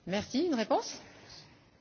Dziękuję bardzo za to pytanie.